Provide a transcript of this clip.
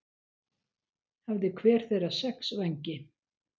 Hafði hver þeirra sex vængi.